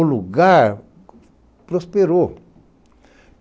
O lugar prosperou.